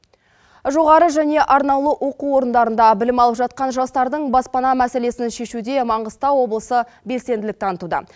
жоғары және арнаулы оқу орындарында білім алып жатқан жастардың баспана мәселесін шешуде маңғыстау облысы белсенділік танытуда